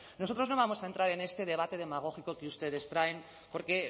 nosotros no vamos a entrar en este debate demagógico que ustedes traen porque